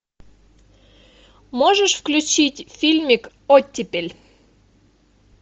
можешь включить фильмик оттепель